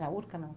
Na Urca, na...